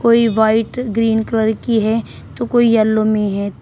कोई white green colour की है तो कोई येलो में है।